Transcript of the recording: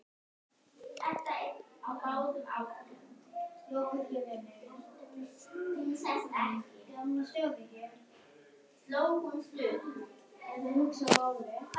Þegar áfengi brennur losnar orka.